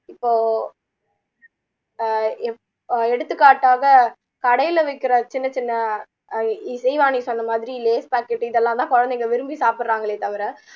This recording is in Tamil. இப்போ ஆஹ் அ எடுத்துக்காட்டாக கடையில விக்குற சின்ன சின்ன ஆஹ் இ இசைவாணி சொன்ன மாதிரி lays packet இதெல்லாம் தான் குழந்தைங்க விரும்பி சாப்பிடுறாங்களே தவிர